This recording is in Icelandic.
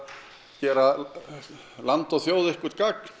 gera land og þjóð eitthvert gagn